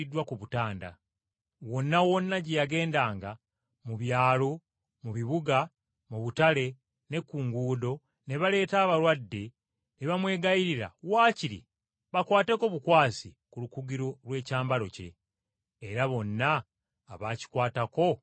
Wonna wonna gye yagendanga, mu byalo, mu bibuga, mu butale ne ku nguudo ne baleeta abalwadde ne bamwegayirira waakiri bakwateko bukwasi ku lukugiro lw’ekyambalo kye. Era bonna abaakikwatako ne bawona.